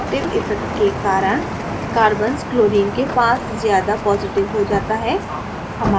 inductive effect के कारण कार्बन्सक्लोरीन के पास ज़्यादा positive हो जाता है